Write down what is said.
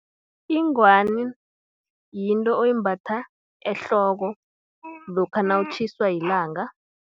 Ingwani, yinto oyimbatha ehloko, lokha nawutjhiswa yilanga.